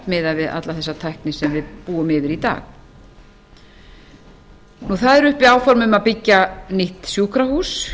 miðað við alla þessi tækni sem við búum yfir í dag það eru uppi áform um að byggja nýtt sjúkrahús